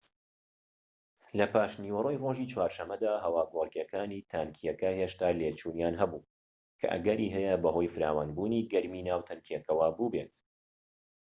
لە پاشنیوەڕۆی ڕۆژی چوارشەمەدا هەواگۆڕکێکانی تانکیەکە هێشتا لێچوونیان هەبوو کە ئەگەری هەیە بەهۆی فراوانبوونی گەرمیی ناو تانکیەکەوە بووبێت